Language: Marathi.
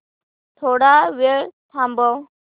थोडा वेळ थांबव